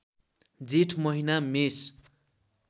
जेठ महिना मेष